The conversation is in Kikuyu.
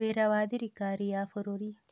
Wĩra wa Thirikari ya Bũrũri.